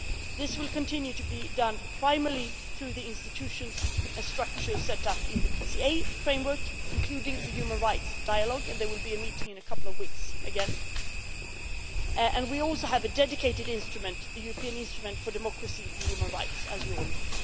This will continue to be done primarily through the institutions and structures set up in the PCA framework, including the human rights dialogue and there will be a meeting in a couple of weeks again. We also have a dedicated instrument, the European Instrument for Democracy and Human Rights, as you all know.